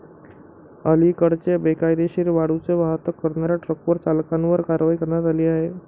अलीकडेच बेकायदेशीर वाळूची वाहतूक करणाऱ्या ट्रक्टर चालकांवर कारवाई करण्यात आली.